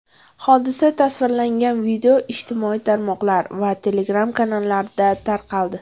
Hodisa tasvirlangan video ijtimoiy tarmoqlar va Telegram-kanallarda tarqaldi.